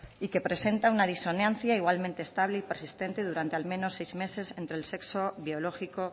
y que presenta una disonancia igualmente estable y persistente durante al menos seis meses entre el sexo biológico